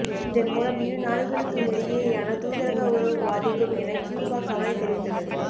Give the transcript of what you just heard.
இதன்மூலம் இரு நாடுகளுக்குமிடையேயான தூதரக உறவு பாதிக்கும் என கியூபா கவலை தெரிவித்துள்ளது